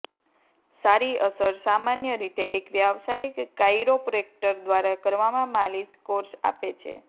સારી અસર સામાન્ય રીતે એક વ્યાવસાયિક કાઇરોપ્રૅક્ટર દ્વારા કરવામાં માલિશ કોર્સ આપે છે